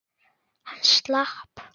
Hann slapp.